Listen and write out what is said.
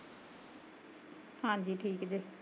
ਹਾਂਜੀ ਠੀਕ ਜੇ